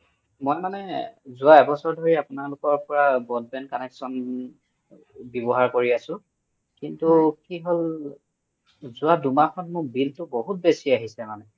মই মানে যোৱা এবছৰ ধৰি আপুনালোকৰ পা broadband connection ৱ্যাবহাৰ কৰি আছো কিন্তু কি হ'ল যোৱা দুহ মাহ মান মোৰ bill তু বহুত বেচি আহিছে মানে